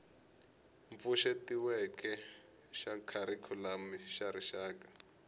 pfuxetiweke xa kharikhulamu xa rixaka